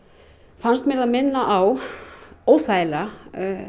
finnst mér það minna á óþægilega